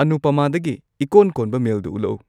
ꯑꯅꯨꯄꯃꯥꯗꯒꯤ ꯏꯀꯣꯟ ꯀꯣꯟꯕ ꯃꯦꯜꯗꯨ ꯎꯠꯂꯛꯎ